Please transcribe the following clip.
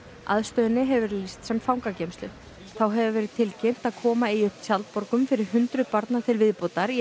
aðstöðunni hefur verið lýst sem fangageymslu þá hefur verið tilkynnt að koma eigi upp fyrir hundruð barna til viðbótar í